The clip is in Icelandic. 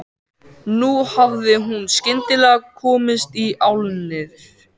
Nú hafði hún skyndilega komist í álnir.